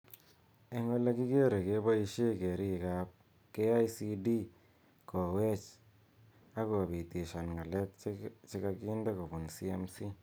Eng ole kikere koboishe keriik ab KICD kowech ak kobitishan ng'alek che kakinde kobun CMC.